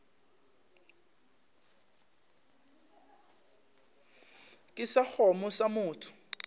ke sa kgomo sa motho